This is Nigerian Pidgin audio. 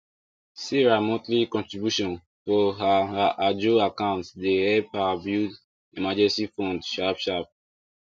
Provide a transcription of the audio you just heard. sarah monthly contribution for her her ajo account de help her build emergency fund sharp sharp